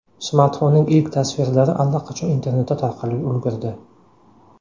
Smartfonning ilk tasvirlari allaqachon internetda tarqalib ulgurdi.